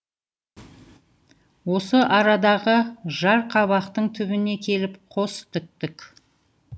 осы арадағы жарқабақтың түбіне келіп қос тіктік